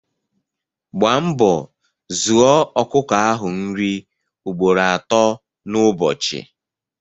Gba mbọ zụoọ ọkụkọ ahụ nri ugboro ato n' ụbọchị